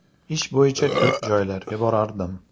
Ish bo‘yicha ko‘p joylarga borardim.